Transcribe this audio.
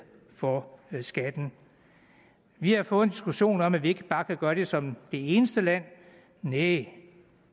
for skatten vi har fået en diskussion om at vi ikke bare kan gøre det som det eneste land næh